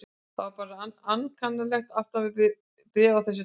Það er bara svo ankannalegt aftan við bréf af þessu tagi.